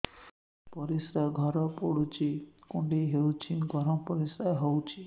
ପରିସ୍ରା ଘର ପୁଡୁଚି କୁଣ୍ଡେଇ ହଉଚି ଗରମ ପରିସ୍ରା ହଉଚି